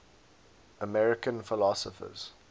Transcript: american philosophers